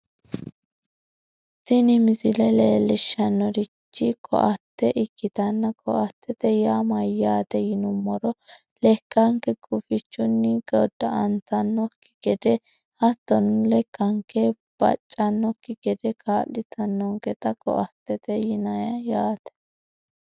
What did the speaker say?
tini misile leellishshannorichi ko"atte iikkitanna koattete yaa mayyaate yinummoro lekkanke gufichunni godda"antannokki gede hattono lekkanke baccannokki gede kaa'litannonketa ko"attete yinayii yaate.